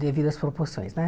Devidas proporções, né?